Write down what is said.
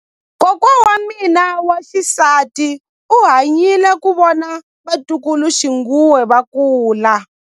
Kokwa wa mina wa xisati u hanyile ku vona vatukuluxinghuwe va kula.